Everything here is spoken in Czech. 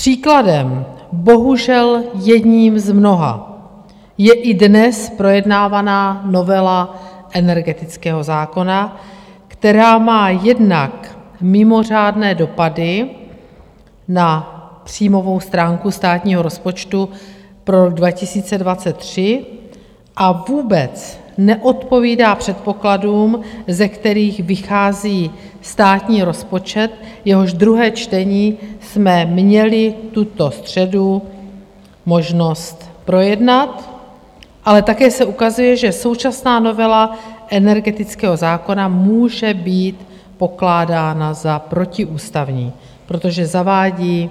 Příkladem, bohužel jedním z mnoha, je i dnes projednávaná novela energetického zákona, která má jednak mimořádné dopady na příjmovou stránku státního rozpočtu pro rok 2023 a vůbec neodpovídá předpokladům, ze kterých vychází státní rozpočet, jehož druhé čtení jsme měli tuto středu možnost projednat, ale také se ukazuje, že současná novela energetického zákona může být pokládána za protiústavní, protože zavádí